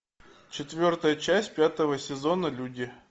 четвертая часть пятого сезона люди